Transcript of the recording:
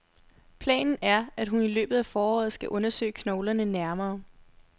Planen er, at hun i løbet af foråret skal undersøge knoglerne nærmere.